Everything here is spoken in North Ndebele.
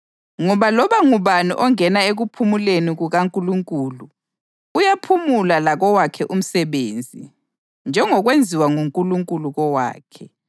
ngoba loba ngubani ongena ekuphumuleni kukaNkulunkulu uyaphumula lakowakhe umsebenzi njengokwenziwa nguNkulunkulu kowakhe.